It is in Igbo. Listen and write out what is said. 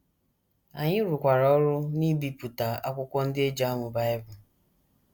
Anyị rụkwara ọrụ n’ibipụta akwụkwọ ndị e ji amụ Bible.